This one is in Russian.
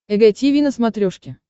эг тиви на смотрешке